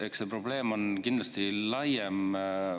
Eks see probleem ole kindlasti laiem.